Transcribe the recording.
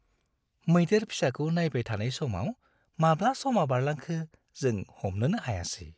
मैदेर फिसाखौ नायबाय थानाय समाव माब्ला समा बारलांखो जों हमनोनो हायासै।